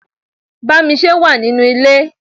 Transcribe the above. Bámisé wà nínú ilé.